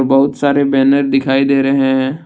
बहुत सारे बैनर दिखाई दे रहे हैं।